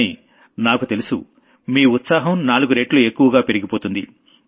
కానీ నాకు తెలుసు మీ ఉత్సాహం నాలుగు రెట్లు ఎక్కువగా పెరిగిపోతుంది